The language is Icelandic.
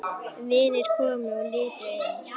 Vinir komu og litu inn.